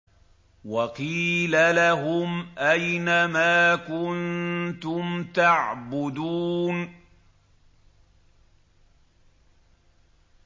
وَقِيلَ لَهُمْ أَيْنَ مَا كُنتُمْ تَعْبُدُونَ